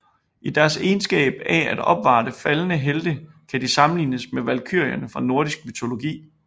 I deres egenskab af at opvarte faldne helte kan de sammenlignes med valkyrierne fra nordisk mytologi